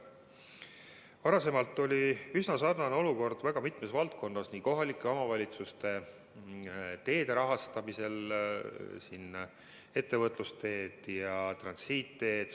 Varem oli üsna sarnane olukord mitmes teiseski valdkonnas, näiteks kohalike omavalitsuste teede rahastamisel ettevõtlusega seotud teede ja transiitteede toetuse puhul.